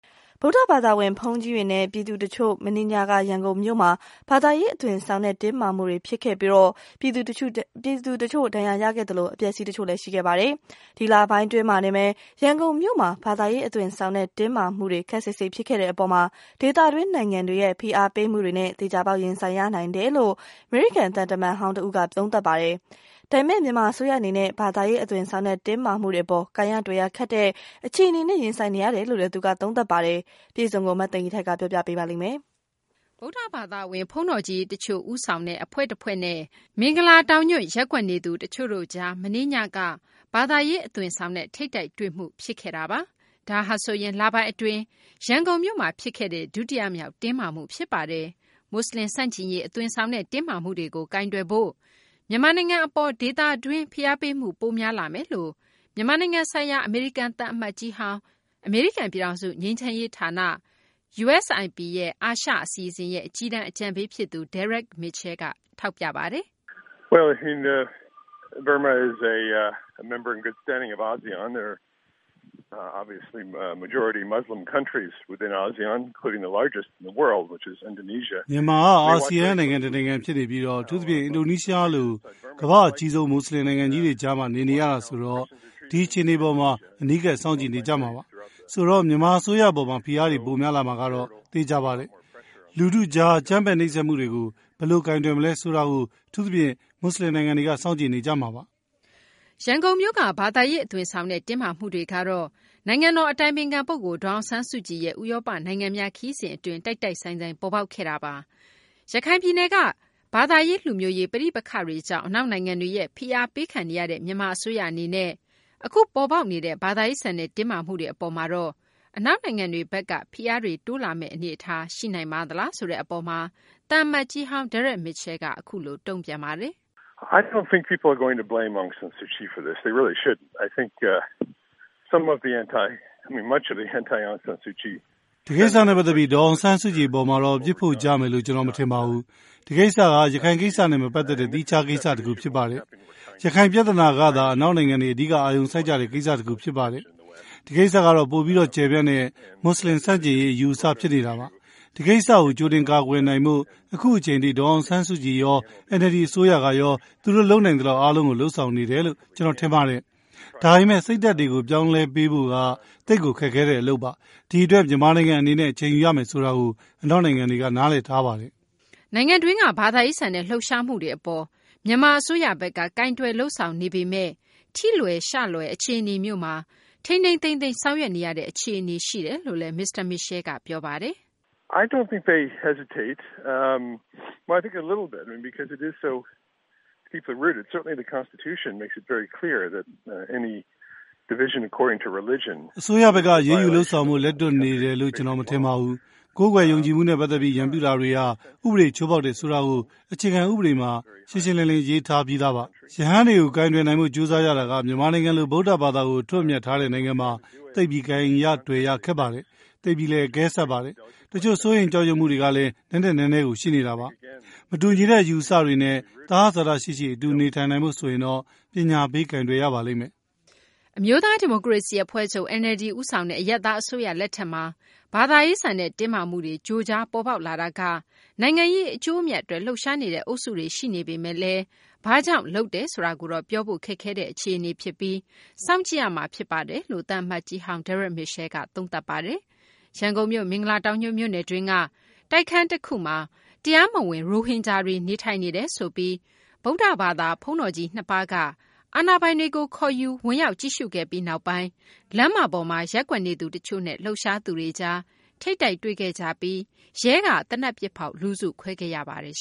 ဗုဒ္ဓဘာသာဝင် ဘုန်းတော်ကြီးတွေနဲ့ ပြည်သူတချို့ မနေ့ညက ရန်ကုန်မြို့မှာ ဘာသာရေး အသွင်ဆောင်တဲ့ တင်းမာမှု ဖြစ်ခဲ့ပြီး ပြည်သူတချို့ ဒဏ်ရာရခဲ့သလို အပျက်အစီး တချို့လည်း ဖြစ်ခဲ့တာပါ။ ဒီလပိုင်းတွေ အတွင်းမှာတင် ရန်ကုန်မြို့မှာ ဘာသာရေး အသွင်ဆောင်တဲ့ တင်းမာမှုတွေ ခပ်စိပ်စိပ် ဖြစ်ခဲ့တဲ့ အပေါ် ဒေသတွင်းနိုင်ငံတွေရဲ့ ဖိအားပေးမှုတွေနဲ့ သေချာပေါက် ရင်ဆိုင်ရနိုင်တယ်လို့ အမေရိကန် သံတမန်ဟောင်းတဦးက သုံးသပ်ပါတယ်။ ဒါပေမယ့် မြန်မာအစိုးရ အနေနဲ့ဘာသာရေး အသွင်ဆောင်တဲ့ တင်းမာမှုတွေ အပေါ် ကိုင်ရတွယ်ရ ခက်တဲ့ အခြေအနေနဲ့ ရင်ဆိုင်နေရတယ်လို့လည်း သူက သုံးသပ်ပါတယ်။ မသိင်္ဂ ီထိုက် စုစည်းတင်ပြထားပါတယ်။ ဗုဒ္ဓဘာသာဝင် ဘုန်းတော်ကြီး တချို့ဦးဆောင်တဲ့ အဖွဲ့တဖွဲ့နဲ့ မင်္ဂလာတောင်ညွန့် ရပ်ကွက်နေသူ တချို့တို့ကြား မနေ့ညက ဘာသာရေး အသွင်ဆောင်တဲ့ ထိပ်တိုက်တွေ့မှု ဖြစ်ခဲ့တာပါ။ ဒါဟာဆိုရင် လပိုင်း အတွင်း ရန်ကုန်မြို့မှာ ဖြစ်ခဲ့တဲ့ ဒုတိယမြောက် တင်းမာမှု ဖြစ်ပါတယ်။ မူဆလင် ဆန့်ကျင်ရေး အသွင်ဆောင်တဲ့ တင်းမာမှုတွေကို ကိုင်တွယ်ဖို့ မြန်မာနိုင်ငံ အပေါ် ဒေသတွင်းရဲ့ ဖိအားပေးမှု ပိုများလာမယ်လို့ မြန်မာနိုင်ငံဆိုင်ရာ အမေရိကန် သံအမတ်ကြီးဟောင်း၊ အမေရိကန် ပြည်ထောင်စု ငြိမ်းချမ်းရေး ဌာန အာရှ အစီအစဉ်ရဲ့ အကြီးတန်း အကြံပေး ဖြစ်သူ Derek Mitchell က ပြောဆိုပါတယ်။ "မြန်မာက အာဆီယံ နိုင်ငံတနိုင်ငံ ဖြစ်နေပြီး အထူးသဖြင့် အင်ဒိုနီးရှားလို ကမ္ဘာ့အကြီးဆုံး မူဆလင် နိုင်ငံကြီးတွေကြားမှာ နေနေရတာဆိုတော့ ဒီအခြေအနေပေါ်မှာ အနီးကပ် စောင့်ကြည့်နေကြမှာပါ။ ဆိုတော့ မြန်မာ အစိုးရ အပေါ်မှာ ဖိအားတွေ ပိုများလာမှာကတော့ သေချာပါတယ်။ လူထုကြား အကြမ်းဖက် နှိပ်စက်မှုတွေကို ဘယ်လို ကိုင်တွယ် မလဲဆိုတာကို အထူးသဖြင့် မူဆလင် နိုင်ငံတွေက စောင့်ကြည့်နေကြမှာပါ။" ရန်ကုန်မြို့က ဘာသာရေး အသွင်ဆောင်တဲ့ တင်းမာမှုတွေ ကတော့ နိုင်ငံတော် အတိုင်ပင်ခံ ပုဂ္ဂိုလ် ဒေါ်အောင်ဆန်းစုကြည်ရဲ့ ဥရောပ နိုင်ငံများ ခရီးစဉ် အတွင်း တိုက်တိုက်ဆိုင်ဆိုင် ပေါ်ပေါက်ခဲ့တာပါ။ ရခိုင်ပြည်နယ်က ဘာသာရေး လူမျိုးရေး ပဋိပက္ခတွေကြောင့် အနောက်နိုင်ငံတွေရဲ့ ဖိအားပေးခံနေရတဲ့ မြန်မာ အစိုးရ အနေနဲ့ အခု ပေါ်ပေါက်နေတဲ့ ဘာသာရေးဆန်တဲ့ တင်းမာမှုတွေ အပေါ်မှာတော့ အနောက်နိုင်ငံတွေဘက်က ဖိအားတွေ တိုးလာမယ့် အနေအထား ရှိနိုင်ပါသလားဆိုတဲ့ အပေါ်မှာတော့ သံအမတ်ကြီးဟောင်း Dereck Mitchell က အခုလို တုံ့ပြန်ပါတယ်။ "ဒီကိစ္စနဲ့ ပတ်သက်ပြီး ဒေါ်အောင်ဆန်းစုကြည် အပေါ်မှာတော့ အပြစ်ဖို့ကြမယ်လို့ ကျနော် မထင်ပါဘူး။ ဒီကိစ္စက ရခိုင်ကိစ္စနဲ့ မပတ်သက်တဲ့ သီးခြား ကိစ္စ တခု ဖြစ်ပါတယ်။ ရခိုင် ပြသနာကသာ အနောက်နိုင်ငံတွေ အဓိက အာရုံစိုက်ကြတဲ့ ကိစ္စ တခု ဖြစ်ပါတယ်။ ဒီကိစ္စကတော့ ပိုပြီး ကျယ်ပြန့်တဲ့ မူဆလင် ဆန့်ကျင်ရေး အယူအဆ ဖြစ်နေတာပါ။ ဒီလိုကိစ္စတွေကို ကြိုတင် ကာကွယ်နိုင်ဖို့ အခုအချိန်ထိ ဒေါ်အောင်ဆန်းစုကြည်ရော NLD အစိုးရရောက သူတို့ လုပ်နိုင်သလောက် အားလုံးကို လုပ်ဆောင်နေတယ်လို့ ကျနော် ထင်ပါတယ်။ ဒါပေမယ့် စိတ်ဓာတ်တွေကို ပြောင်းလဲပေးဖို့က သိပ်ကို ခက်ခဲတဲ့ အလုပ်ပါ။ ဒီအတွက် မြန်မာနိုင်ငံ အနေနဲ့ အချိန်ယူရမယ်ဆိုတာကို အနောက်နိုင်ငံတွေက နားလည်ထားပါတယ်။" နိုင်ငံတွင်းက ဘာသာရေးဆန်တဲ့ လှုပ်ရှားမှုတွေ အပေါ် မြန်မာ အစိုးရဘက်က ကိုင်တွယ်လုပ်ဆောင်နေပေမယ့် ထိလွယ်ရှလွယ် အခြေအနေမျိုးမှာ ထိန်းထိန်းသိမ်းသိမ်း ဆောင်ရွက်နေရတဲ့ အခြေအနေရှိတယ်လို့လည်း မစ္စတာ Mitchell က ပြောပါတယ်။ " အစိုးရဘက်က အရေးယူ လုပ်ဆောင်ဖို့ လက်တွန့်နေတယ်လို့ ကျနော် မထင်ပါဘူး။ ကိုးကွယ်ယုံကြည်မှုနဲ့ ပတ်သက်ပြီး ရန်ပြုမှုတွေဟာ ဥပဒေ ချိုးဖောက်တယ်ဆိုတာကို အခြေခံ ဥပဒေမှာ ရှင်းရှင်းလင်းလင်း ရေးထားပြီးသားပါ။ ရဟန်းတွေကို ကိုင်တွယ်နိုင်ဖို့ ကြိုးစားရတာက မြန်မာနိုင်ငံလို ဗုဒ္ဓဘာသာကို အထွဋ်အမြတ်ထားတဲ့ နိုင်ငံမှာ သိပ်ပြီး ကိုင်ရ တွယ်ရ ခက်ပါတယ်။ သိပ်ပြီးလည်း အကဲဆတ်ပါတယ်။ တချို့ စိုးရိမ် ကြောက်ရွံ့မှုတွေကလည်း နက်နက်နဲနဲကို ရှိနေတာပါ။ မတူညီတဲ့ အယူအဆတွေနဲ့ သဟဇာတရှိရှိ အတူ နေထိုင်နိုင်ဖို့ဆိုရင်တော့ ပညာပေး ကိုင်တွယ်ရပါလိမ့်မယ်။" အမျိုးသား ဒီမိုကရေစီ အဖွဲ့ချုပ် NLD ဦးဆောင်တဲ့ အရပ်သား အစိုးရလက်ထက်မှာ ဘာသာရေးဆန်တဲ့ တင်းမာမှုတွေ ကြိုကြားပေါ်ပေါက်လာတာက နိုင်ငံရေး အကျိုးအမြတ်အတွက် လှုပ်ရှားနေတဲ့ အုပ်စုတွေ ရှိနေပေမယ့် ဘာကြောင့် လုပ်တယ်ဆိုတာကိုတော့ ပြောဖို့ ခက်ခဲတဲ့ အခြေအနေဖြစ်ပြီး စောင့်ကြည့်ရမှာ ဖြစ်တယ်လို့ သံအမတ်ကြီးဟောင်း Dereck Mitchell က သုံးသပ် ပြောဆိုပါတယ်။ ရန်ကုန်မြို့ မင်္ဂလာတောင်ညွန့်မြို့နယ်တွင်းက တိုက်ခန်းတခုမှာ တရားမဝင် ရိုဟင်ဂျာတွေ နေထိုင်နေတယ်ဆိုပြီး ဗုဒ္ဓဘာသာ ဘုန်းတော်ကြီး နှစ်ပါးက အာဏာပိုင်တွေကို ခေါ်ယူပြီး ဝင်ရောက် ကြည့်ရှုခဲ့ပြီးနောက်ပိုင်း လမ်းမပေါ်မှာ ရပ်ကွက်နေသူ တချို့နဲ့ လှုပ်ရှားသူတွေကြား ထိပ်တိုက်တွေ့ခဲ့ကြပြီး ရဲက သေနတ်ပစ်ဖောက် လူစုခွဲခဲ့ရပါတယ်